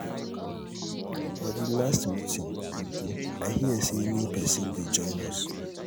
for the last meeting we do i hear say new person dey join us.